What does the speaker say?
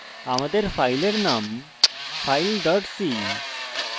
আমাদের ফাইলের নাম filec